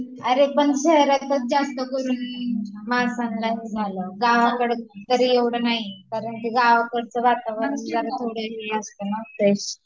अरे पण शहरातच जास्तकरून माणसांला हे झालं, गावाकडं तरी एवढ नाही, कारण ते गावकडच वातावरण ते हे असतं ना फ्रेश